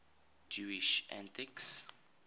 jewish atheists